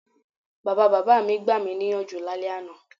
Bàbabàbá mi gbami níyànjú lálẹ́ àná.